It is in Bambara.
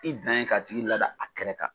I dan ye k'a tigi lada a kɛrɛ kan